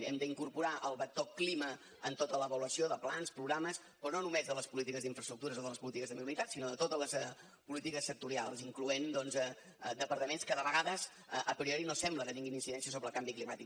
hem d’incorporar el vector clima en tota l’avaluació de plans programes però no només de les polítiques d’infraestructures o de les polítiques de mobilitat sinó de totes polítiques sectorials incloent doncs departaments que de vegades a priori no sembla que tinguin incidència sobre el canvi climàtic